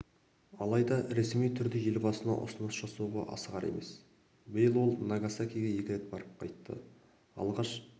алайда ресми түрде елбасына ұсыныс жасауға асығар емес биыл ол нагасакиге екі рет барып қайтты алғаш